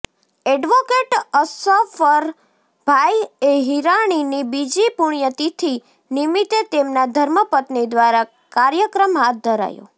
advocate Ashrafbhai હિરાણીની બીજી પુણ્યતિથિ નિમિત્તે તેમના ધર્મપત્ની દ્વારા કાર્યક્રમ હાથ ધરાયો